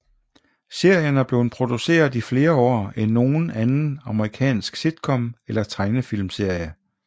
Serien er blevet produceret i flere år end nogen anden amerikansk sitcom eller tegnefilmsserie